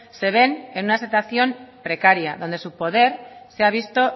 se ven en una situación precaria donde su poder se ha visto